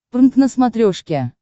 прнк на смотрешке